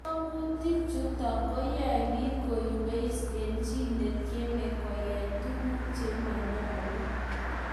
ngatutik chutok ko yae piik koyweis eng' chii netiemei koyai tuguk che manyalu